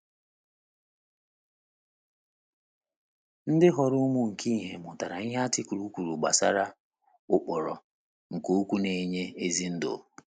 Ndị ghọrọ ụmụ nke ìhè mụtara ihe artịkụlụ kwuru gbasara “ ụkpụrụ nke okwu na - enye ezi ndụ ”